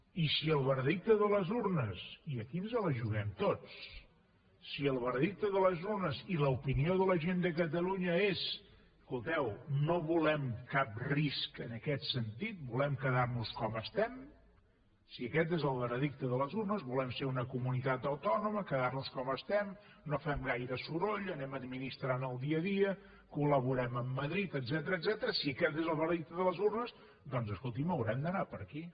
i si el veredicte de les urnes i aquí ens la juguem tots i l’opinió de la gent de catalunya és escolteu no volem cap risc en aquest sentit volem quedar nos com estem si aquest és el veredicte de les urnes volem ser una comunitat autònoma quedar nos com estem no fem gaire soroll anem administrant el dia a dia col·laborem amb madrid etcètera si aquest és el veredicte de les urnes doncs escolti’m haurem d’anar per aquí